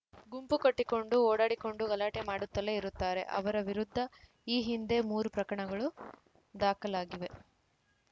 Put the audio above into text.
ಗುಂಪು ಕಟ್ಟಿಕೊಂಡು ಓಡಾಡಿಕೊಂಡು ಗಲಾಟೆ ಮಾಡುತ್ತಲೇ ಇರುತ್ತಾರೆ ಅವರ ವಿರುದ್ಧ ಈ ಹಿಂದೆ ಮೂರು ಪ್ರಕರಣಗಳು ದಾಖಲಾಗಿವೆ